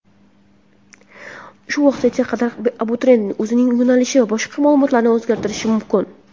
Shu vaqtgacha qadar abituriyent o‘zining yo‘nalishi va boshqa ma’lumotlarini o‘zgartirishi mumkin.